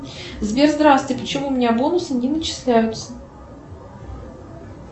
сбер здравствуй почему у меня бонусы не начисляются